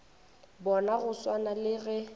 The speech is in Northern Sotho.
bona go swana le ge